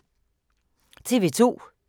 TV 2